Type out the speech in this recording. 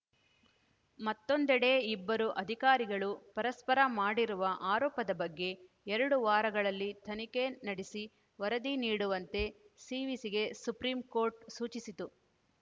ಮತ್ತೊಂದೆಡೆ ಇಬ್ಬರು ಅಧಿಕಾರಿಗಳು ಪರಸ್ಪರ ಮಾಡಿರುವ ಆರೋಪದ ಬಗ್ಗೆ ಎರಡು ವಾರಗಳಲ್ಲಿ ತನಿಖೆ ನಡೆಸಿ ವರದಿ ನೀಡುವಂತೆ ಸಿವಿಸಿಗೆ ಸುಪ್ರೀಂಕೋರ್ಟ್‌ ಸೂಚಿಸಿತ್ತು